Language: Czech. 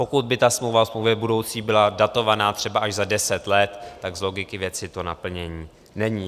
Pokud by ta smlouva o smlouvě budoucí byla datovaná třeba až za deset let, tak z logiky věci to naplnění není.